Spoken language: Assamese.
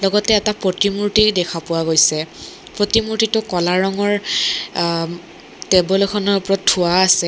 লগতে এটা প্ৰতিমূৰ্ত্তি দেখা পোৱা গৈছে প্ৰতিমূৰ্ত্তিটো কলা ৰঙৰ আহ-ম টেবুল এখনৰ ওপৰত থোৱা আছে।